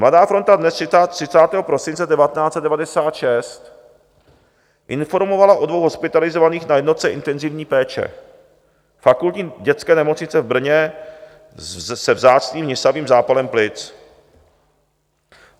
Mladá fronta DNES 30. prosince 1996 informovala o dvou hospitalizovaných na jednotce intenzivní péče Fakultní dětské nemocnice v Brně se vzácným hnisavým zápalem plic.